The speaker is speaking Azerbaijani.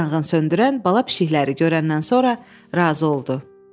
Yanğınsöndürən bala pişiklər görəndən sonra razı oldu.